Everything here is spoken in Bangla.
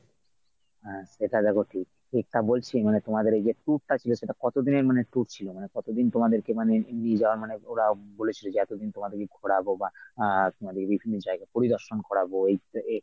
সেটা ঠিক ঠিক তা বলছি মানে তোমাদের এইযে tour টা ছিল সেটা কতদিনের মানে tour ছিল সেটা কতদিনের মানে tour ছিল না মানে কতদিন তোমাদেরকে নিয়ে যাওয়া মানে ওরা বলেছিল যে এতদিন